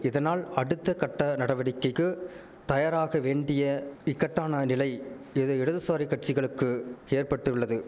இதனால் அடுத்தகட்ட நடவடிக்கைக்கு தயாராக வேண்டிய இக்கட்டான நிலை இது இடதுசாரி கட்சிகளுக்கு ஏற்பட்டுள்ளது